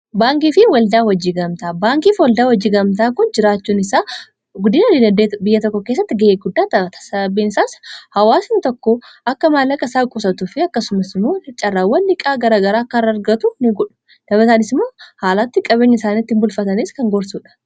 baankii fi waldaa wajjii gamtaa baankiifi waldaa wajjii gamtaa kun jiraachuun isaa 22 biyya tokko keessatti ga'ee guddaa taatasababeensaas hawaasin tokko akka maallaqa isaa quusatuufi akkasumasmoo i caarra wandhiqaa gara garaa kkaraargatu ni godhu dabataanis moo haalatti qabinya isaanitti in bulfatanis kan gorsuudha